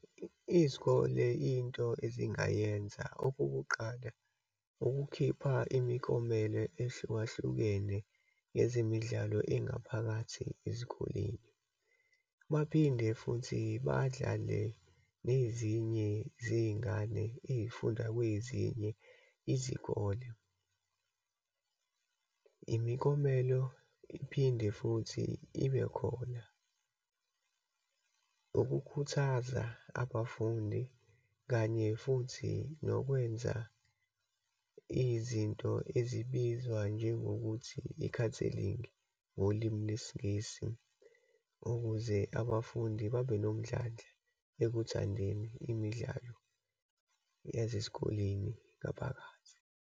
Izikole, into ezingayenza. Okokuqala, ukukhipha imiklomelo ehlukahlukene yezemidlalo engaphakathi ezikoleni. Baphinde futhi badlale nezinye zeyingane eyifunda kwezinye izikole. Imiklomelo iphinde futhi ibe khona, ukukhuthaza abafundi. Kanye futhi nokwenza izinto ezibizwa njengokuthi i-counseling-i ngolimi lesiNgisi, ukuze abafundi babe nomdlandla ekugandeni imidlalo yase sikoleni ngaphakathi.